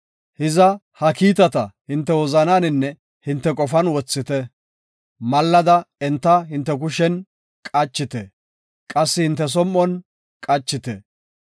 Hiza, ha kiitata hinte wozanaaninne hinte qofan wothite. Mallada enta hinte kushen qachite; qassi hinte som7on qachite.